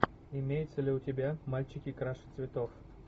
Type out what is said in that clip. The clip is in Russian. имеется ли у тебя мальчики краше цветов